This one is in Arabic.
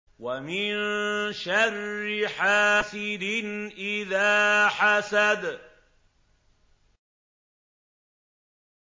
وَمِن شَرِّ حَاسِدٍ إِذَا حَسَدَ